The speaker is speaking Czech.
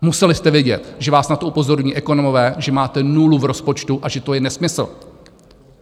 Museli jste vědět, že vás na to upozorňují ekonomové, že máte nulu v rozpočtu a že to je nesmysl.